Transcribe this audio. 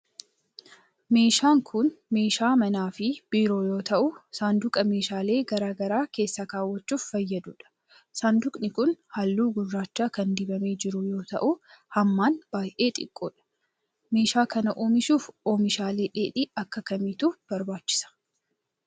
Meeshaan kun, meeshaa manaa fi biiroo yoo ta'u, saanduqa meeshaalee garaa garaa keessa kaawwachuuf fayyaduu dha. Saanduqni kun, haalluu gurraacha kan dibamee jiru yoo ta'u, hammaan baay'ee xiqqoo dha. Meeshaa kana oomishuuf oomishaalee dheedhii akka kamiitu barbaachisa?